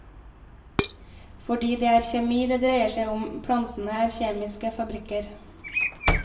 For det er kjemi det dreier seg om, plantene er kjemiske fabrikker.